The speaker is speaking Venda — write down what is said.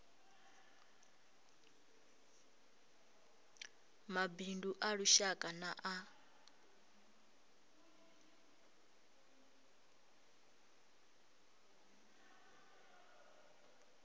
mabindu a lushaka na a